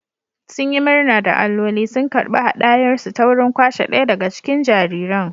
Sun yi murna da alloli sun karɓi haɗayarsu ta wurin kwashe ɗaya daga cikin jariran